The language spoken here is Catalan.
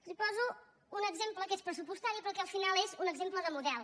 els poso un exemple que és pressupostari però que al final és un exemple de model